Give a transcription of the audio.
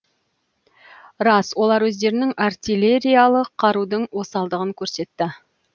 рас олар өздерінің артиллериялық қарудың осалдығын көрсетті